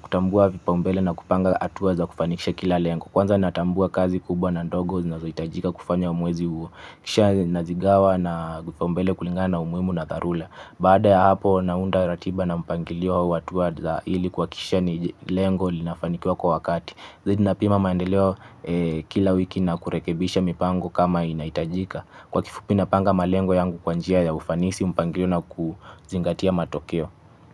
kutambua vipaombele na kupanga hatua za kufanikisha kila lengo. Kwanza natambua kazi kubwa na ndogo zinazo itajika kufanya uamuzi huu. Kisha nazigawa na kipaumbele kulingana na umuhimu na dharula. Bada ya hapo naunda ratiba na mpangilio watuwa za ili kwa kisha ni lengo linafanikua kwa wakati. Huwa napima maendeleo kila wiki na kurekebisha mipango kama inahitajika kwa kifupi napanga malengo yangu kwanjia ya ufanisi mpangilio na kuzingatia matokeo.